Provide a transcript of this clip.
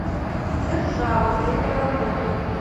держава время работы